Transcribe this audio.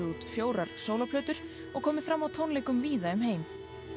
út fjórar og komið fram á tónleikum víða um heim